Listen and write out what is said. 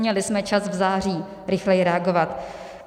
Měli jsme čas v září rychleji reagovat.